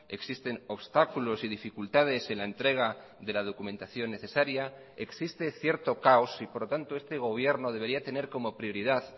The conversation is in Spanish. existen obstáculos y dificultades en la entrega de la documentación necesaria existe cierto caos y por lo tanto este gobierno debería tener como prioridad